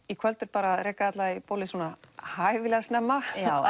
í kvöld er bara að reka alla í bólið svona hæfilega snemma já